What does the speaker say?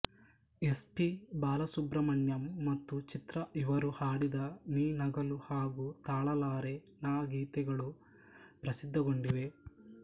S P Balasubrahmanyam ಮತ್ತು ಚಿತ್ರಾ ಇವರು ಹಾಡಿದ ನೀ ನಗಲು ಹಾಗೂ ತಾಳಳಾರೆ ನಾ ಗೀತೆಗಳು ಪ್ರಸಿದ್ಧಗೊಂಡಿವೆ